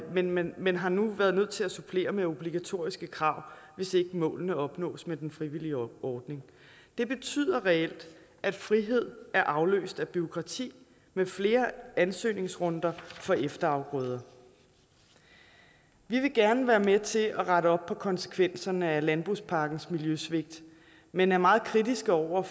landmænd men har nu været nødt til at supplere med obligatoriske krav hvis ikke målene opnås med den frivillige ordning det betyder reelt at frihed er afløst af bureaukrati med flere ansøgningsrunder for efterafgrøder vi vil gerne være med til at rette op på konsekvenserne af landbrugspakkens miljøsvigt men er meget kritiske over